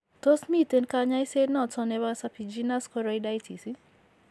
Tos miten kanyaiset noton nebo serpiginous choroiditis ?